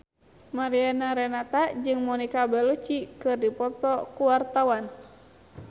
Mariana Renata jeung Monica Belluci keur dipoto ku wartawan